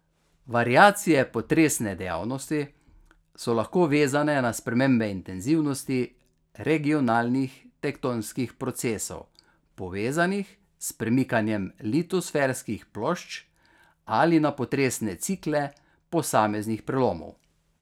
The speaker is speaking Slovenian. Variacije potresne dejavnosti so lahko vezane na spremembe intenzivnosti regionalnih tektonskih procesov, povezanih s premikanjem litosferskih plošč, ali na potresne cikle posameznih prelomov.